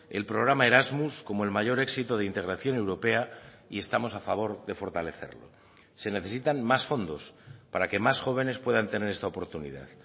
el programa erasmus como el mayor éxito de integración europea y estamos a favor de fortalecerlo se necesitan más fondos para que más jóvenes puedan tener esta oportunidad